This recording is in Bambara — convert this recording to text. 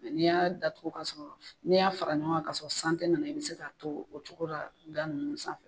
N'i y'a datugu kosɛbɛ ka sɔrɔ n'i y'a fara ɲɔgɔn ka sɔrɔ san tɛ nana i bɛ se k'a to o cogo la da ninnu sanfɛ.